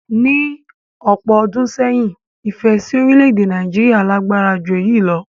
Ní ọ̀pọ̀ ọdún sẹ́yìn, ìfẹ́ si orílẹ̀-èdè Nàìjíríà lágbára ju eyi lo